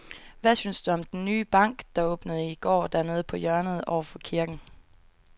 Hvad synes du om den nye bank, der åbnede i går dernede på hjørnet over for kirken?